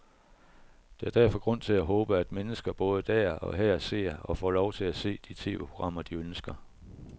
Der er derfor grund til at håbe, at mennesker både der og her ser, og får lov til at se, de tv-programmer, de ønsker.